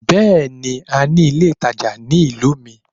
Bẹ́ẹ̀ni, a ní ilé ìtajà ní ìlú mi.